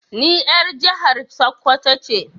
Ni er jihar sakwato ce.